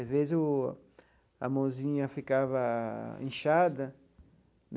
Às vezes o a mãozinha ficaa inchada.